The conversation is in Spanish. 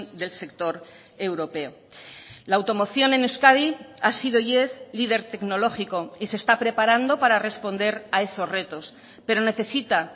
del sector europeo la automoción en euskadi ha sido y es líder tecnológico y se está preparando para responder a esos retos pero necesita